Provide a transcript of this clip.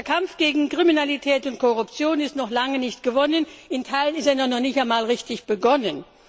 Der Kampf gegen Kriminalität und Korruption ist noch lange nicht gewonnen, in Teilen hat er noch nicht einmal richtig begonnen.